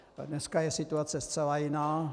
Dneska je situace zcela jiná.